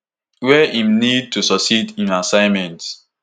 wey im need to succeed im assignment.